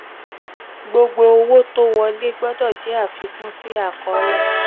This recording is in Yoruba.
gbogbo owó wọlé gbọdọ̀ jẹ́ àfikún sí àkọọ́lẹ̀.